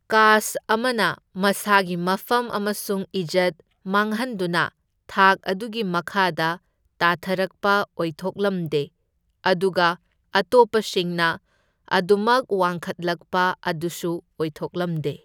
Cast ꯑꯃꯅ ꯃꯁꯥꯒꯤ ꯃꯐꯝ ꯑꯃꯁꯨꯡ ꯏꯖꯠ ꯃꯥꯡꯍꯟꯗꯨꯅ ꯊꯥꯛ ꯑꯗꯨꯒꯤ ꯃꯈꯥꯗ ꯇꯥꯊꯔꯛꯄ ꯑꯣꯏꯊꯣꯛꯂꯝꯗꯦ, ꯑꯗꯨꯒ ꯑꯇꯣꯞꯄꯁꯤꯡꯅ ꯑꯗꯨꯃꯛ ꯋꯥꯡꯈꯠꯂꯛꯄ ꯑꯗꯨꯁꯨ ꯑꯣꯏꯊꯣꯛꯂꯝꯗꯦ꯫